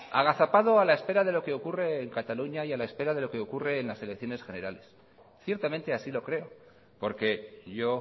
agazapado a la espera de lo que ocurre en cataluña y a la espera de lo que ocurre en las elecciones generales ciertamente así lo creo porque yo